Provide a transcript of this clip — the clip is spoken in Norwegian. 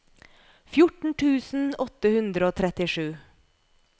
fjorten tusen åtte hundre og trettisju